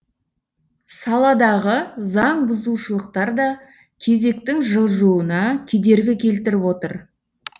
саладағы заңбұзушылықтар да кезектің жылжуына кедергі келтіріп отыр